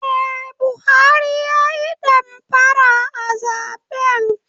Eh Buhari ya Yi damfara a zaben.